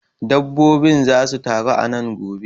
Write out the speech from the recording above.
Dabbobin zasu taru a nan gobe.